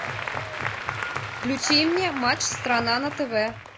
включи мне матч страна на тв